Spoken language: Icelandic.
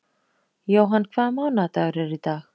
Johan, hvaða mánaðardagur er í dag?